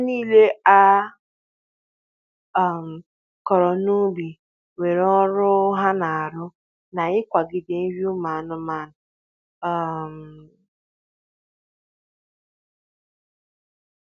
Ihe nile a um kụrụ n’ubi nwere ọrụ ha na arụ na-ikwagide nri ụmụ anụmanụ. um